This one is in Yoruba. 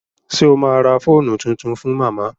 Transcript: Ṣé o ma ra fóònù tuntun fún màmá?